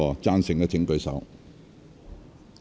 贊成的請舉手。